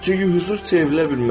Çünki hüzur çevrilə bilməz.